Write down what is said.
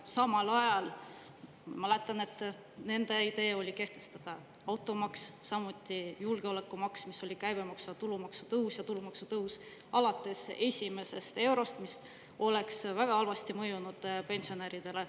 Samal ajal, ma mäletan, nende idee oli kehtestada automaks, samuti julgeolekumaks, mis oli käibemaksu ja tulumaksu tõus ja tulumaksu tõus alates esimesest eurost, mis oleks väga halvasti mõjunud pensionäridele.